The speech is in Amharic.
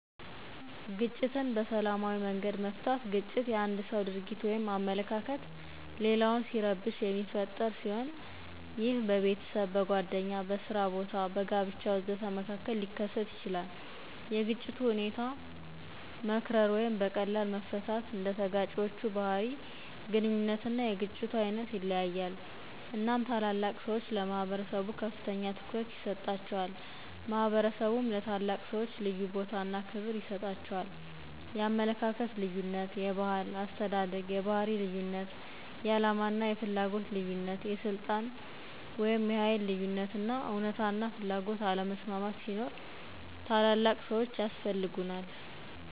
ግጭትን በሰላማዊ መንገድ መፍታት ግጭት የአንድ ሰው ድርጊት ወይም አመለካከት ሌላውን ሲረብሽ የሚፈጠር ሲሆን ይህም በቤተሰብ፤ በጓደኛ፤ በስራ ቦታ፤ በጋብቻ.. ወዘተ መካከል ሊከሰት ይችላል። የግጭቱ ሁኔታ መክረር ወይም በቀላል መፈታት እንደተጋጪዎቹ ባህርይ፤ ግንኙነትና የግጭቱ ዓይነት ይለያያል። እናም ታላላቅ ሰዎች ለማህበረሰቡ ከፍተኛ ትኩረት ይሰጣቸዋል ማህበረሰቡም ለታላላቅ ሰዎች ልዩ ቦታ እነ ክብር ይሰጣቸዋል ።*የአመለካከት ልዩነት *የባህል፤ አስተዳደግ፤ የባህርይ ልዩነት *የዓላማ እና የፍላጎት ልዩነት *የስልጣን/የኃይል ልዩነት *እውነታና ፍላጎት አለመስማማት ሲኖር ታላላቅ ሰዎች ያስፈልጉናል